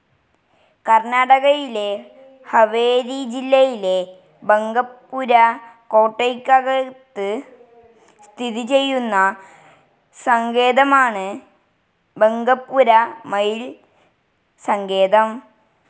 കർണ്ണാടകയിലെ ഹവേരി ജില്ലയിലെ ബങ്കപുര കോട്ടയ്ക്കകത്ത് സ്ഥിതിചെയ്യുന്ന സങ്കേതമാണ് ബങ്കപുര മയിൽ സങ്കേതം.